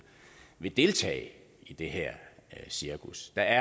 vil deltage i det her cirkus der